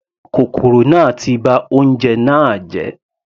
Kòkòrò náà ti ba oúnjẹ náà jẹ́.